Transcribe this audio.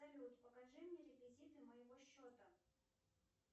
салют покажи мне реквизиты моего счета